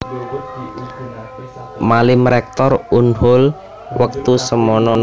Malim Rektor Unhol wektu semana